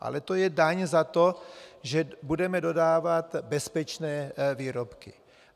Ale to je daň za to, že budeme dodávat bezpečné výrobky.